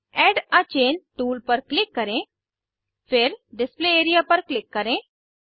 add a chain tool पर click करें फिर डिस्प्ले एआरईए पर क्लिक करें